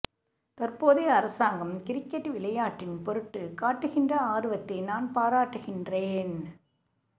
தற்போதைய அரசாங்கம் கிரிக்கெட் விளையாட்டின் பொருட்டு காட்டுகின்ற ஆர்வத்தை நான் பாராட்டுகின்றேன்